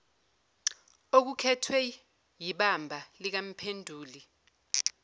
okukhethwe yibamba likamphenduli